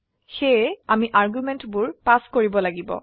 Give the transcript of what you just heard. সেয়ে আমি আৰ্গুমেন্ট বোৰ পাস কৰিব লাগিব